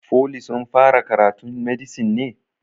Foli sun fara karatun medisin ne?